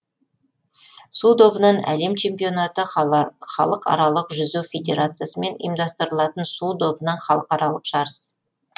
су добынан әлем чемпионаты халықаралық жүзу федерациясымен ұйымдастырылатын су добынан халықаралық жарыс